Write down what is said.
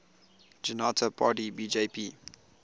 janata party bjp